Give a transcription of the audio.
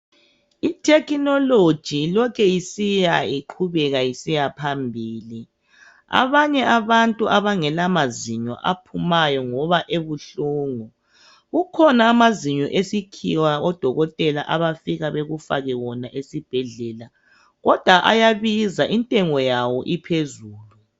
Ithekinologi ilokhu isiya iqhubeka isiya phambili. Abanye abantu abangela mazinyo aphumayo ngoba ebuhlungu. Kukhona amazinyo esikhiwa odokotela abafika bekufake wona esibhedlela, kodwa ayabiza intengo yawo iphezulu.